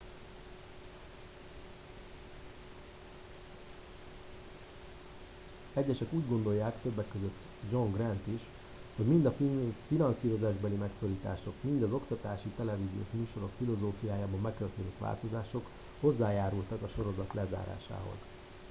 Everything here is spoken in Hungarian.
egyesek úgy gondolják többek közt john grant is - hogy mind a finanszírozásbeli megszorítások mind az oktatási televíziós műsorok filozófiájában bekövetkezett változások hozzájárultak a sorozat lezárásához